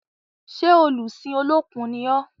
Ṣé olùsìn Olókun ni ọ́?